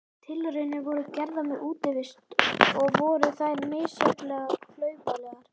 Tilraunir voru gerðar með útivist og voru þær misjafnlega klaufalegar.